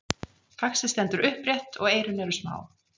Faxið stendur upprétt og eyrun eru smá.